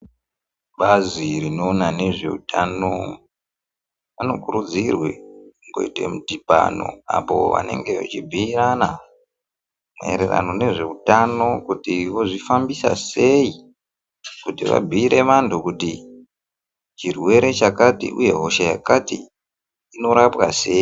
Bazi rinoona nezveutano vanokurudzirwe kuite midhibano apoo vanenge vechibhuyirana maererano nezveutano kuti vozvifambisa sei kuti vabhuyire vantu kuti chirwere chakati uye hosha yakati inorapwa sei.